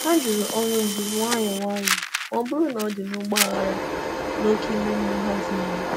Hà jụrụ ọrụ ndu nwayọ nwayọ ma ọ bụrụ na ọ̀ dị n’ụgbọ aghara na oke ime mmụọ ha tìnyere.